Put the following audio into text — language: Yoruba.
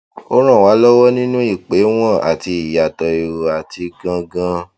ó ràn wá lọwọ nínú ìpéwọn àti ìyàtọ erò àti gangan